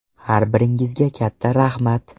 Har biringizga katta rahmat.